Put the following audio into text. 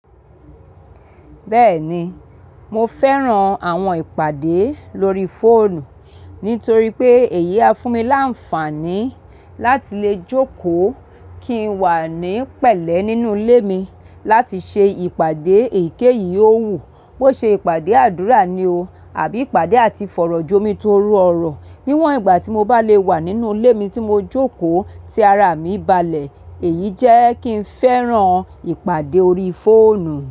Bẹ́ẹ̀ni, mo fẹ́ran àwọn ìpàdé lórí fóònù nítorí pé èyí á fún mi láǹfààní láti lè jókòó kí n wà ní pẹ̀lẹ́ nínú ilé mi láti ṣe ìpàdé èyíkéyìí. Ó wù kó ṣe ìpàdé àdúrà ni o àbí ìpàdé àti fọ̀rọ̀jomi tó rọrùn níwọ̀n ìgbà tí mo bá lè wà nínú ilé mi tí mo jókòó tí ara mi balẹ̀. Èyí jẹ́ kí n fẹ́ran ìpàdé orí fóònù.